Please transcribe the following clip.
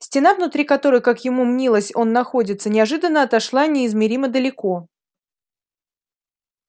стена внутри которой как ему мнилось он находится неожиданно отошла неизмеримо далеко